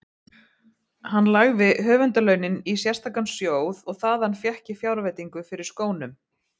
Hann lagði höfundarlaunin í sérstakan sjóð og þaðan fékk ég fjárveitingu fyrir skónum.